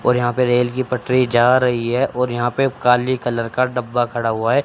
और यहां पे रेल की पटरी जा रही है और यहां पे काली कलर का डब्बा खड़ा हुआ है।